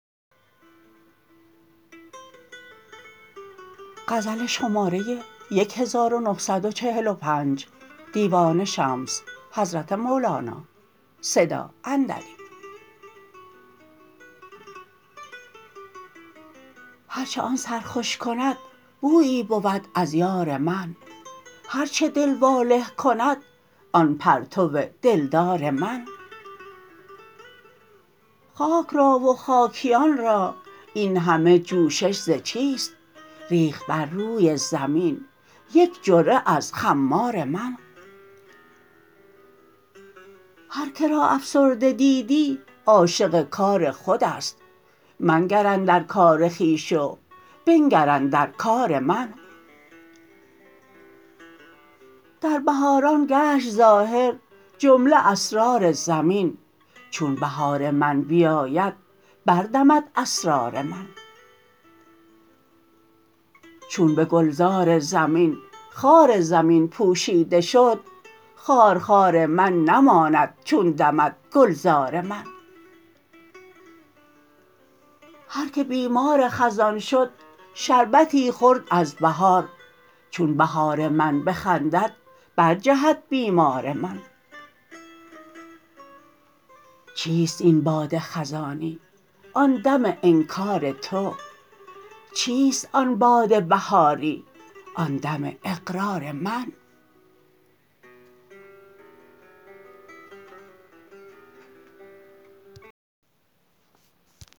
هر چه آن سرخوش کند بویی بود از یار من هر چه دل واله کند آن پرتو دلدار من خاک را و خاکیان را این همه جوشش ز چیست ریخت بر روی زمین یک جرعه از خمار من هر که را افسرده دیدی عاشق کار خود است منگر اندر کار خویش و بنگر اندر کار من در بهاران گشت ظاهر جمله اسرار زمین چون بهار من بیاید بردمد اسرار من چون به گلزار زمین خار زمین پوشیده شد خارخار من نماند چون دمد گلزار من هر کی بیمار خزان شد شربتی خورد از بهار چون بهار من بخندد برجهد بیمار من چیست این باد خزانی آن دم انکار تو چیست آن باد بهاری آن دم اقرار من